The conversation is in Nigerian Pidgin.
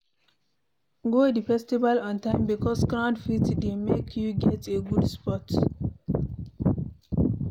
Go the festival on time because crowd fit de make you get a good spot